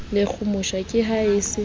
lekgomosha ke ha le se